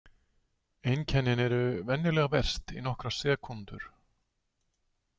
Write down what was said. Einkennin eru venjulega verst í nokkrar sekúndur.